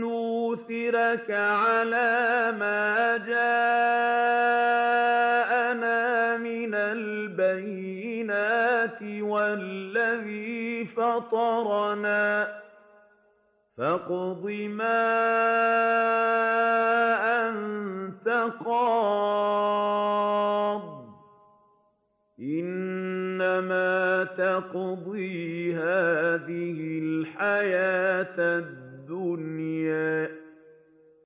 نُّؤْثِرَكَ عَلَىٰ مَا جَاءَنَا مِنَ الْبَيِّنَاتِ وَالَّذِي فَطَرَنَا ۖ فَاقْضِ مَا أَنتَ قَاضٍ ۖ إِنَّمَا تَقْضِي هَٰذِهِ الْحَيَاةَ الدُّنْيَا